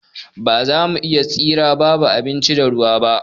Ba za mu iya tsira babu abinci da ruwa ba.